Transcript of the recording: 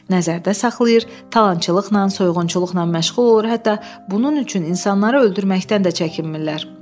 nəzərdə saxlayır, talançılıqla, soyğunçuluqla məşğul olur, hətta bunun üçün insanları öldürməkdən də çəkinmirlər.